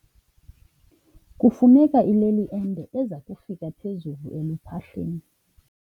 Kufuneka ileli ende eza kufika phezulu eluphahleni.